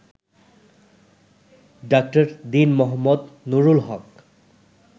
ডা. দীন মো. নুরুল হক